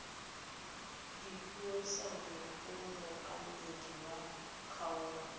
dipuisano go mookamedi wa kgaolo